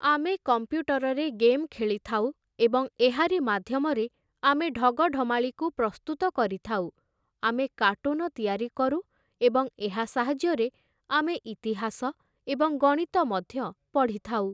ଆମେ କମ୍ପ୍ୟୁଟରରେ ଗେମ୍ ଖେଳିଥାଉ ଏବଂ ଏହାରି ମାଧ୍ୟମରେ ଆମେ ଢଗଢ଼ମାଳିକୁ ପ୍ରସ୍ତୁତ କରିଥାଉ । ଆମେ କାର୍ଟୁନ ତିଆରି କରୁ ଏବଂ ଏହା ସାହାଯ୍ୟରେ ଆମେ ଇତିହାସ ଏବଂ ଗଣିତ ମଧ୍ୟ ପଢ଼ିଥାଉ ।